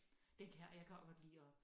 Den kan jeg og jeg kan også godt lide at